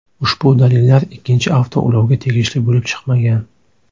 Ushbu dalillar ikkinchi avtoulovga tegishli bo‘lib chiqmagan.